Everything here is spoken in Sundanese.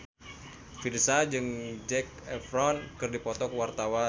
Virzha jeung Zac Efron keur dipoto ku wartawan